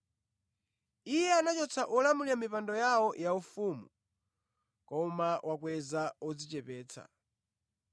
Iye anachotsa olamulira pa mipando yawo yaufumu, koma wakweza odzichepetsa.